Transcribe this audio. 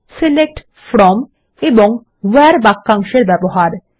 select from এবং where বাক্যাংশের ব্যবহার